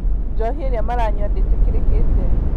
Njohi ĩrĩa maranyua ndĩtĩkĩrĩkĩte